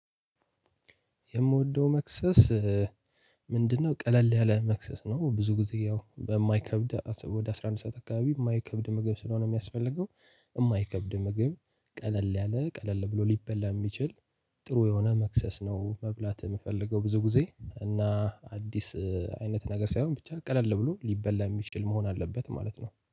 የምወደው መክሰስ ምንድነው? ቀለል ያለ መክሰስ ነው ብዙ ጊዜ ያው በማይከብድ ወደ አስራ አንድ ሰዓት አካባቢ የማይከብድ ምግብ ስለሆነ የሚያስፈልገው። የማይከብድ ምግብ ቀለል ያለ ቀለል ብሎ ሊበላ የሚችል። ጥሩ የሆነ መክሰስ ነው መብላት የምፈልገው ብዙ ጊዜ እና አዲስ አይነት ነገር ሳይሆን ብቻ ቀለል ብሎ ሊበላ የሚችል መሆን አለበት ማለት ነው